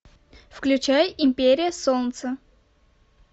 включай империя солнца